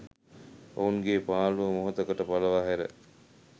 ඔවුන්ගේ පාළුව මොහොතකට පලවාහැර